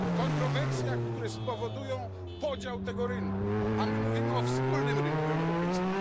Kontrowersjach, które spowodują podział tego rynku, a my mówimy o wspólnym rynku europejskim.